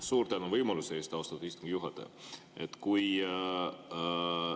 Suur tänu võimaluse eest, austatud istungi juhataja!